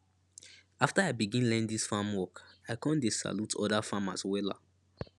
after i begin learn dis farm work i con dey salute oda farmers wella